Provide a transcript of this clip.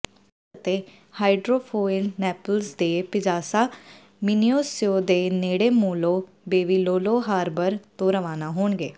Ferries ਅਤੇ hydrofoil Naples ਦੇ Piazza Municipio ਦੇ ਨੇੜੇ ਮੋਲੋ ਬੇਵੀਲੋਲੋ ਹਾਰਬਰ ਤੋਂ ਰਵਾਨਾ ਹੋਣਗੇ